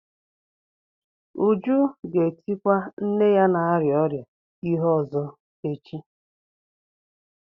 Uju ga-etikwa nne ya na-arịa ọrịa ihe ọzọ echi.